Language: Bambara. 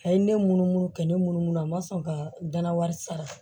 A ye ne munumunu ka ne munumunu a ma sɔn ka dana